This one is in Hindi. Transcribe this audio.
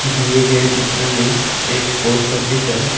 दिए गए चित्र में एक पोस्ट ऑफिस है।